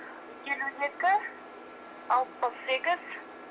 елу екі алпыс сегіз